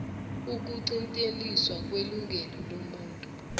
ukuqinteliswa kwelungelo lomuntu